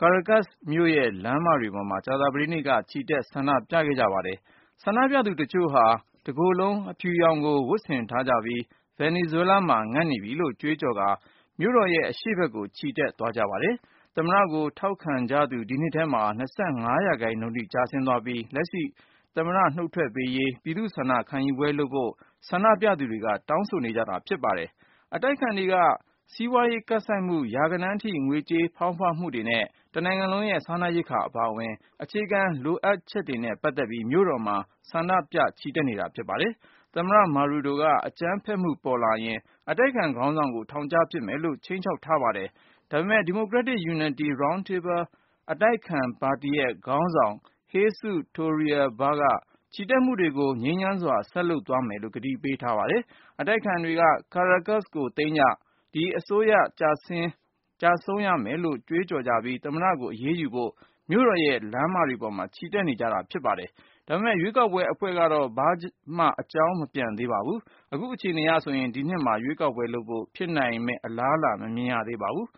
Caracas မြို့ရဲ့လမ်းမတွေပေါ်မှာ ကြာသပတေးနေ့က ချီတက် ဆန္ဒပြခဲ့ကြပါတယ်။ ဆန္ဒပြသူတချို့ဟာ တကိုယ်လုံး အဖြူရောင်ကို ဝတ်ဆင်ထားကြပြီး “ဗင်နီဇွဲလားမှာ ငတ်နေပြီ”လို့ကြွေးကြော်ကာ မြို့တော်ရဲ့အရှေ့ဘက်ကို ချီတက် ဆန္ဒပြခဲ့ကြတာပါ။ သမ္မတကို ထောက်ခသူ ဒီနှစ်ထဲ ၂၅ ရာခိုင်နှုန်းထိ ကျသွားခဲ့ပြီး လက်ရှိသမ္မတ နှုတ်ထွက်ပေးရေး ပြည်သူ့ဆန္ဒ ခံယူပွဲလုပ်ဖို့ ဆန္ဒပြသူတွေက တောင်းဆိုနေ ကြတာဖြစ်ပါတယ်။ စီးပွားရေး ကပ်ဆိုက်မှု၊ ရာဂဏန်းအထိ ငွေကြေးဖောင်းပွမှုတွေနဲ့ စားနပ်ရိက္ခာအပါအဝင် တနိုင်ငံလုံး အခြေခံ လိုအပ်ချက်တွေနဲ့ ပတ်သက်ပြီး အတိုက်အခံတွေက မြို့တော်မှာ ဆန္ဒပြနေကြတာ ဖြစ်ပါတယ်။ သမ္မတ Maduro က အကြမ်းဖက်မှု ပေါ်လာရင် အတိုက်အခံ ခေါင်းဆောင်ကို ထောင်ချမယ်လို့ ခြိမ်းခြောက်ထားပါတယ်။ ဒါပေမယ့် Democratic Unity Roundtable အတိုက်အခံပါတီရဲ့ခေါင်းဆောင် Jesus Torrealba ကတော့ ချီတက်မှုတွေကို ငြိမ်းချမ်းစွာ ဆက်လုပ်သွား မယ်လို့ ကတိပေး ထားပါတယ်။ အတိုက်အခံတွေက “Caracas ကို သိမ်းကြ” ၊ “ဒီ အစိုးရ ကျဆုံးရမယ်” လို့ ကြွေးကြော်ကြပြီး သမ္မတကို အရေးယူဖို့ မြို့တော်ရဲ့ လမ်းမတွေပေါ်မှာ ချီတက်ခဲ့ကြတာပါ။ ဒါပေမယ့် ရွေးကောက်ပွဲဘုတ်အဖွဲ့က အချိန်ဆွဲနေတာကြောင့် ဒီနှစ်မှာ ပြည်သူ့ဆန္ဒ ခံယူပွဲလုပ်ဖို့ အလားအလာ မမြင်ရသေးပါဘူး